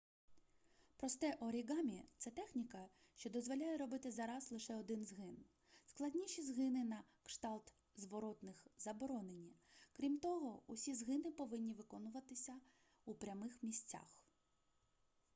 просте оріґамі це техніка що дозволяє робити за раз лише один згин складніші згини на кшталт зворотних заборонені крім того усі згини повинні виконуватися у прямих місцях